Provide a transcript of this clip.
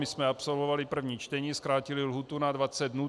My jsme absolvovali první čtení, zkrátili lhůtu na 20 dnů.